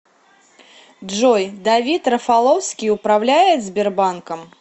джой давид рафаловский управляет сбербанком